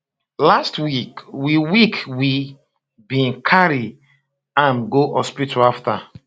last week we week we bin carry am go hospital afta